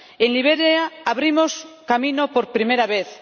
En Liberia abrimos camino por primera vez